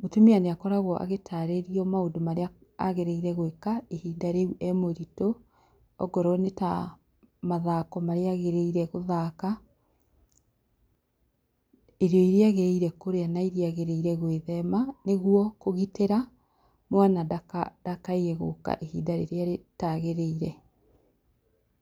mũtumia nĩakoragwo agĩtarĩrio maũndũ marĩa agĩrĩire gwĩka ihinda rĩu e mũritũ akorwo nĩ ta mathako marĩa agĩrĩirwo nĩ gũthaka, irio iria agĩrĩire kũrĩa na iria agĩrĩirwo gwĩthema, nĩguo kũgitĩra mwana ndakaye gũka ihinda rĩrĩa rĩtagĩrĩire.